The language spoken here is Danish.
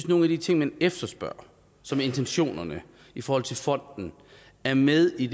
nogle af de ting man efterspørger som intentionerne i forhold til fonden er med i